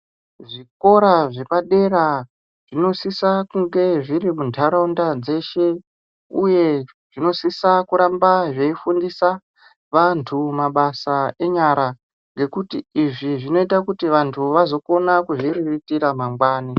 Zvikora zvepadera zvinosisa kunge zviri muntaraunda dzeshe, uye zvinosisa kuramba zvefundisa vantu mabasa enyara. Ngekuti izvi zvinota kuti vantu vazokona kuzviriritira mangwani.